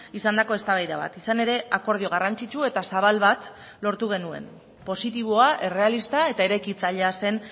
izandako eztabaida bat izan ere akordio garrantzitsu eta zabal bat lortu genuen positiboa errealista eta eraikitzailea zen